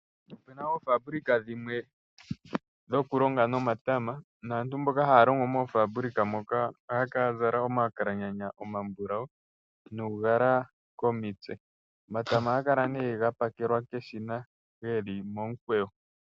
Opena oofabulika dhimwe dhoku longa nomatama. Naantu yamwe yoku longa moofabulika moka ohaya kala ya zala omakalaganya omambulawu nuugala komitse. Omatama ohaga kala nee ga pakelwa keshina geli momukweyo.